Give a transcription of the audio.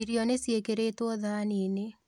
Irio nĩciĩkĩrĩtwo thani-inĩ